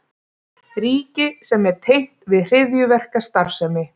Ríki sem er tengt við hryðjuverkastarfsemi